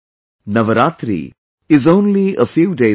Navratri is only a few days away